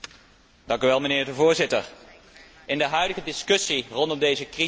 In de huidige discussie rondom deze crisis hebben wij het vooral over begrotingsdiscipline.